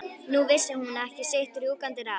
Nú vissi hún ekki sitt rjúkandi ráð.